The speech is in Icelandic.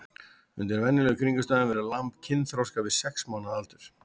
Undir venjulegum kringumstæðum verður lamb kynþroska við sex mánaða aldur.